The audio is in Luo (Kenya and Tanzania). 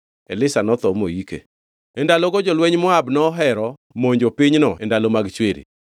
Elisha notho moike. E ndalogo jolwenj Moab nohero monjo pinyno e ndalo mag chwiri.